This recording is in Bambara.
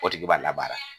O tigi b'a labaara